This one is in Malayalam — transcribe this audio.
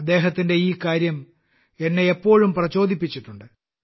അദ്ദേഹത്തിന്റെ ഈ കാര്യം എന്നെ എപ്പോഴും പ്രചോദിപ്പിച്ചിട്ടുണ്ട്